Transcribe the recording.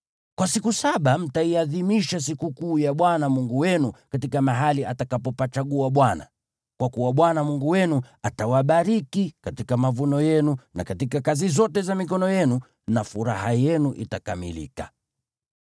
Kwa siku saba mtaiadhimisha sikukuu ya Bwana Mungu wenu katika mahali atakapopachagua Bwana . Kwa kuwa Bwana Mungu wenu atawabariki katika mavuno yenu na katika kazi zote za mikono yenu na furaha yenu itakamilika.